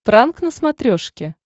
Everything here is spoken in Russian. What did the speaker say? пранк на смотрешке